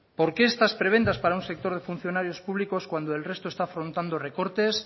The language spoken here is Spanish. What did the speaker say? por qué estas prebendas para un sector de funcionarios públicos cuando el resto está afrontando recortes